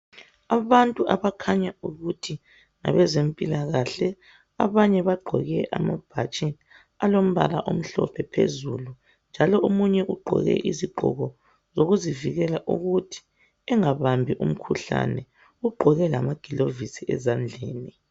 Abantu abakhanya ukuthi ngabezempilakahle, abanye bagqoke amabhatshi alombala omhlophe phezulu njalo omunye ugqoke izigqoko zokuvikela ukuthi engabambi umkhuhlane. Ugqoke lamagilovisi ezandleni.